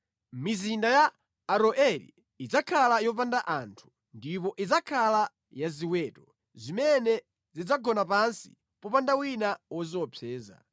Mizinda ya Aroeri idzakhala yopanda anthu ndipo idzakhala ya ziweto, zimene zidzagona pansi popanda wina woziopseza.